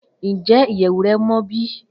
Njẹ iyẹwu rẹ mọ bi?